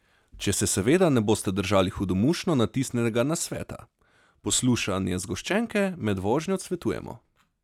Če se seveda ne boste držali hudomušno natisnjenega nasveta: "Poslušanje zgoščenke med vožnjo odsvetujemo.